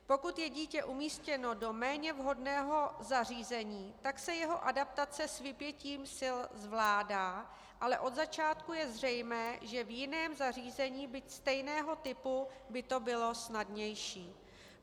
Pokud je dítě umístěno do méně vhodného zařízení, tak se jeho adaptace s vypětím sil zvládá, ale od začátku je zřejmé, že v jiném zařízení, byť stejného typu, by to bylo snadnější.